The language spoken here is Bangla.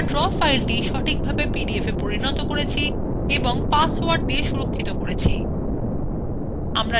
আমরা draw সফলভাবে পিডিএফwe পরিনত করেছি এবং পাসওয়ার্ড protected করেছি